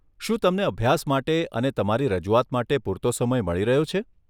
શું તમને અભ્યાસ માટે અને તમારી રજૂઆત માટે પૂરતો સમય મળી રહ્યો છે?